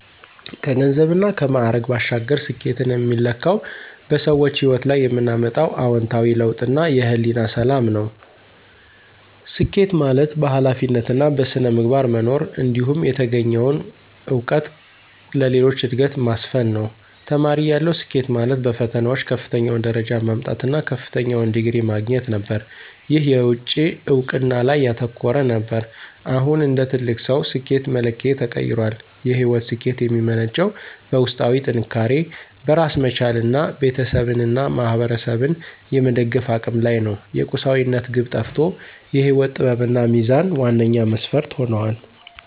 ከገንዘብና ከማዕረግ ባሻገር፣ ስኬትን የሚለካው በሰዎች ሕይወት ላይ የምናመጣው አዎንታዊ ለውጥና የሕሊና ሰላም ነው። ስኬት ማለት በኃላፊነትና በሥነ ምግባር መኖር፣ እንዲሁም የተገኘውን እውቀት ለሌሎች ዕድገት ማስፈን ነው። ተማሪ እያለሁ፣ ስኬት ማለት በፈተናዎች ከፍተኛውን ደረጃ ማምጣት እና ከፍተኛውን ዲግሪ ማግኘት ነበር። ይህ የውጭ እውቅና ላይ ያተኮረ ነበር። አሁን እንደ ትልቅ ሰው፣ ስኬት መለኪያዬ ተቀይሯል። የሕይወት ስኬት የሚመነጨው በውስጣዊ ጥንካሬ፣ በራስ መቻልና ቤተሰብንና ማኅበረሰብን የመደገፍ አቅም ላይ ነው። የቁሳዊነት ግብ ጠፍቶ የሕይወት ጥበብና ሚዛን ዋነኛ መስፈርት ሆነዋል።